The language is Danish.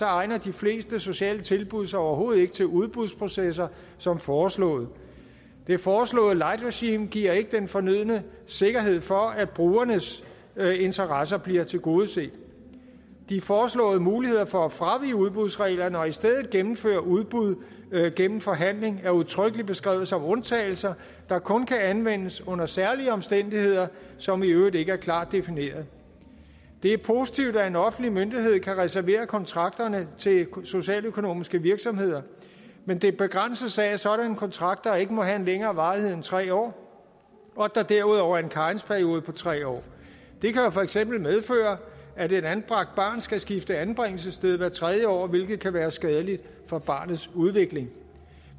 egner de fleste sociale tilbud sig overhovedet ikke til udbudsprocesser som foreslået det foreslåede light regime giver ikke den fornødne sikkerhed for at brugernes interesser bliver tilgodeset de foreslåede muligheder for at fravige udbudsreglerne og i stedet gennemføre udbud gennem forhandling er udtrykkelig beskrevet som undtagelser der kun kan anvendes under særlige omstændigheder som i øvrigt ikke er klart defineret det er positivt at en offentlig myndighed kan reservere kontrakterne til socialøkonomiske virksomheder men det begrænses af at sådanne kontrakter ikke må have en længere varighed end tre år og at der derudover er en karensperiode på tre år det kan jo for eksempel medføre at et anbragt barn skal skifte anbringelsessted hvert tredje år hvilket kan være skadeligt for barnets udvikling